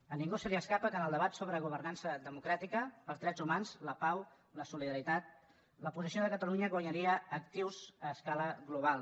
a ningú se li escapa que en el debat sobre governança democràtica els drets humans la pau la solidaritat la posició de catalunya guanyaria actius a escala global